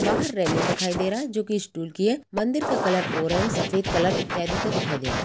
बाहर रैलिंग दिखाई दे रहा है जो कि स्टील की है मंदिर का कलर ऑरेंज सफेद कलर इत्यादि का दिखाई दे रहा है।